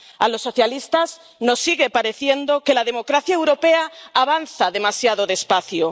A los socialistas nos sigue pareciendo que la democracia europea avanza demasiado despacio.